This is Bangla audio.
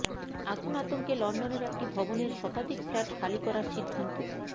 আগুন আতঙ্কে লন্ডনের একটি ভবনের শতাধিক ফ্ল্যাট খালি করার সিদ্ধান্ত